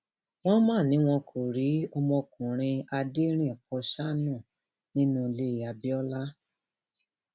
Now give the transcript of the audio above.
wọn mà ní wọn kò rí ọmọkùnrin aderinín pọsánù nni lulé abiola